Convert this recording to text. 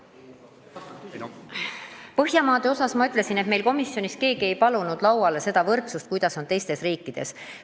Põhjamaade kohta ma ütlesin, et komisjonis keegi ei palunud lauale võrdlust, kuidas on asi korraldatud teistes riikides.